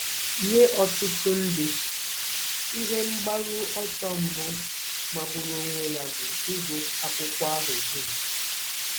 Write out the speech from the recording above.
Nye ọtụtụ ndị, ihe mgbaru ọsọ mbụ magburu onwe ya bụ ịgụ akwụkwọ ahụ dum.